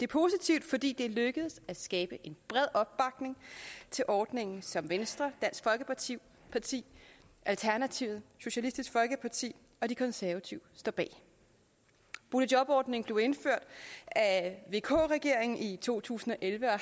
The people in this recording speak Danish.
positivt fordi det er lykkedes at skabe en bred opbakning til ordningen som venstre dansk folkeparti alternativet socialistisk folkeparti og de konservative står bag boligjobordningen blev indført af vk regeringen i to tusind og elleve og